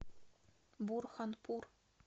бурханпур